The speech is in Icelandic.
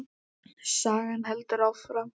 Sagan heldur áfram.